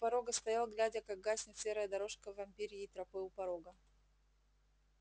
у порога постоял глядя как гаснет серая дорожка вампирьей тропы у порога